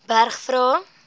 berg vra